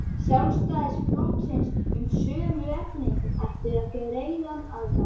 Sjálfstæðisflokksins um sömu efni ættu þar greiðan aðgang.